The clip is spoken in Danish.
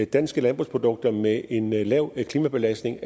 danske landbrugsprodukter med en lav klimabelastning